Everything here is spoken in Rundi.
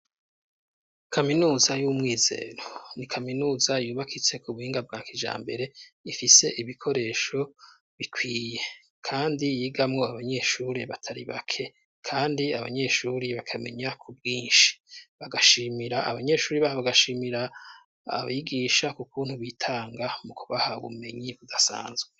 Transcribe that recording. Kaminuza y'umwizero ni kaminuza yubakitse ku buhinga bwa kijambere ifise ibikoresho bikwiye kandi yigamo abanyeshuri batari bake kandi abanyeshuri bakamenya ku bwinshi bagashimira abanyeshuri bae bagashimira abyigisha kukuntu bitanga mu kubaha bumenyi budasanzwe.